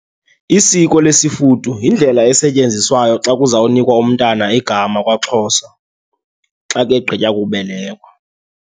Isiko lesifudu yindlela esetyenziswayo xa kuzawunikwa umntana igama kwaXhosa xa kegqitywa kubelekwa.